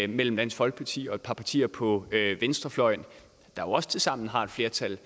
mellem dansk folkeparti og et par partier på venstrefløjen der også tilsammen har et flertal